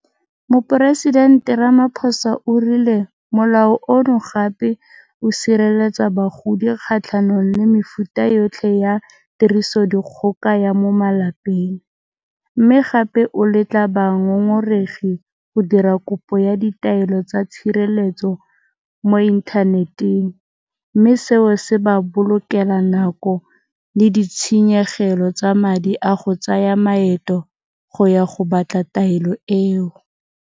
Moporesidente Ramaphosa o rile Molao ono gape o sireletsa bagodi kgatlhanong le mefuta yotlhe ya tirisodikgoka ya mo malapeng, mme gape o letla bangongoregi go dira kopo ya ditaelo tsa tshireletso mo inthaneteng, mme seo se ba bolokela nako le ditshenyegelo tsa madi a go tsaya maeto go ya go batla taelo eo.